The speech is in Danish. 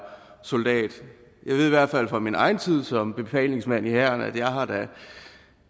soldat jeg ved i hvert fald fra min egen tid som befalingsmand i hæren at